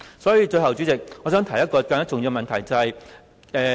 最後，代理主席，我想提出一個更重要的問題。